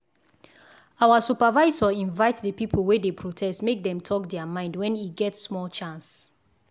our supervisor invite the people wey dey protest make dem talk their mind when e get small chance.